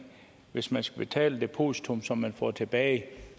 hvis man skal betale et depositum som man får tilbage